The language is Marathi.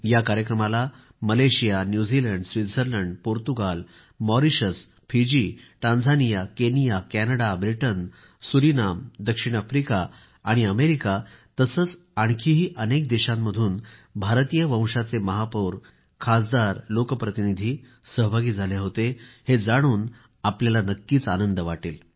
या कार्यक्रमाला Malaysia New Zealand Switzerland Portugal Mauritius Fiji Tanzania Kenya Canada Britain Suriname दक्षिण आफ्रिका आणि अमेरिका तसेच आणखीही अनेक देशांमधून भारतीय वंशाचे महापौर खासदारलोक प्रतिनिधी सहभागी झाले होते हे जाणून आपल्याला नक्कीच आनंद वाटेल